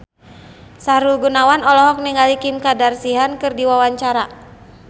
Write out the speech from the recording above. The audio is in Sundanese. Sahrul Gunawan olohok ningali Kim Kardashian keur diwawancara